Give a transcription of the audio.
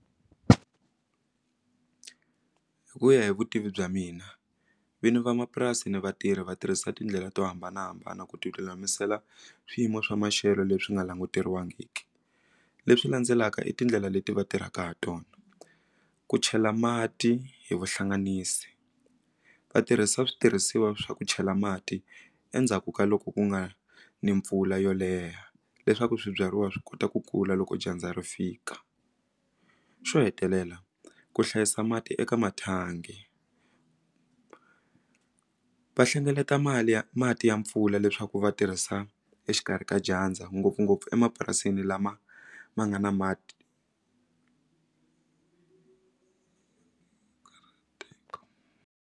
Hi ku ya hi vutivi bya mina vinyi van'wamapurasi ni vatirhi va tirhisa tindlela to hambanahambana ku tilulamisela swiyimo swa maxelo leswi nga languteriwangiki leswi landzelaka i tindlela leti va tirhaka ha tona ku chela mati hi vuhlanganisi va tirhisa switirhisiwa swa ku chela mati endzhaku ka loko ku nga ni mpfula yo leha leswaku swibyariwa swi kota ku kula loko dyandza ri fika xo hetelela ku hlayisa mati eka mathangi va hlengeleta mali ya mati ya mpfula leswaku va tirhisa exikarhi ka dyandza ngopfungopfu emapurasini lama ma nga na mati .